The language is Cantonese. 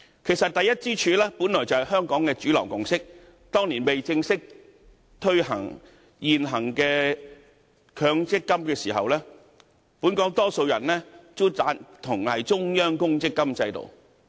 其實，第一支柱本來便是香港的主流共識，當年未正式推行強制性公積金計劃前，本港大多數人也贊同中央公積金制度。